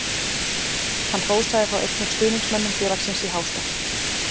Hann hrósaði þá einnig stuðningsmönnum félagsins í hástert.